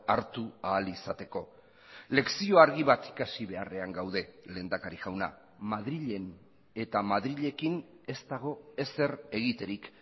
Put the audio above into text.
hartu ahal izateko lezio argi bat ikasi beharrean gaude lehendakari jauna madrilen eta madrilekin ez dago ezer egiterik